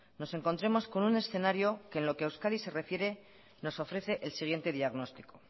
nos encontremos con un escenario que en lo que a euskadi se refiere nos ofrece el siguiente diagnóstico